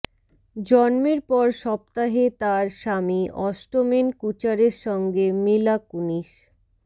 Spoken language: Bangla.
জন্মের পর সপ্তাহে তার স্বামী অষ্টমেন কুচারের সঙ্গে মিলা কুনিস